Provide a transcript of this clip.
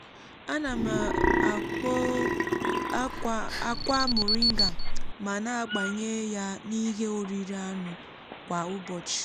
ana m akpo akwa moringa ma na-agbanye ya n’ihe oriri anụ kwa ụbọchị.